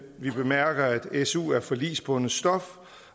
vi bemærker at su er forligsbundet stof